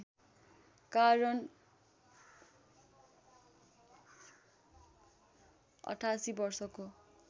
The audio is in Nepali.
कारण ८८ वर्षको